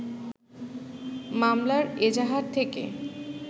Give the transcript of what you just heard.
মামলার এজাহার থেকে